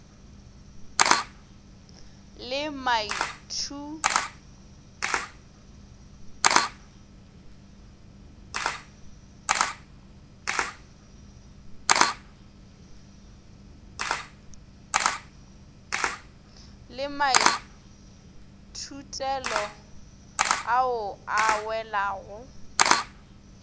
le maithutelo ao a welago